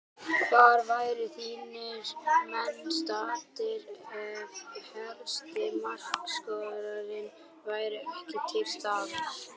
Hvar væru þínir menn staddir ef helsti markaskorarinn væri ekki til staðar?